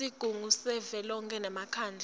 sigungu savelonkhe nemkhandlu